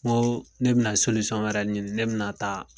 N ko ne bɛna solisɔn wɛrɛ ɲini ne bɛna taa